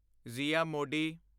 ਜ਼ਿਆ ਮੋਡੀ